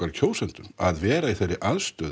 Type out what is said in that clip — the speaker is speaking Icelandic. kjósendum að vera í þeirri aðstöðu